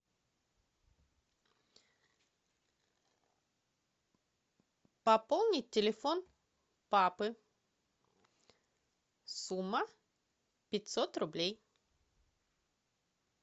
пополнить телефон папы сумма пятьсот рублей